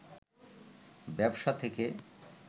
ব্যবসা থেকে